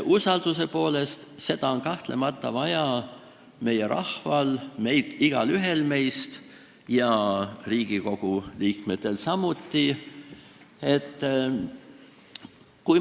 Usaldust on kahtlemata vaja meie rahval, igaühel meist ja Riigikogu liikmetel samuti.